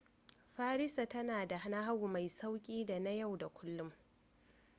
farisa tana da nahawu mai sauki da na yau da kullum